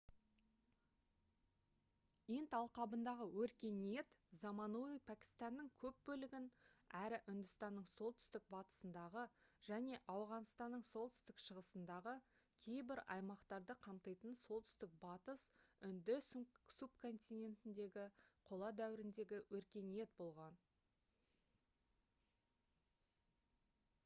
инд алқабындағы өркениет заманауи пәкістанның көп бөлігін әрі үндістанның солтүстік батысындағы және ауғанстанның солтүстік шығысындағы кейбір аймақтарды қамтитын солтүстік батыс үнді субконтинентіндегі қола дәуіріндегі өркениет болған